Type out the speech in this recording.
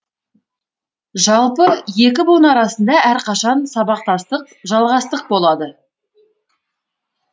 жалпы екі буын арасында әрқашан сабақтастық жалғастық болады